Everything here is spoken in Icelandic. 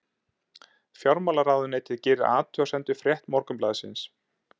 Fjármálaráðuneytið gerir athugasemd við frétt Morgunblaðsins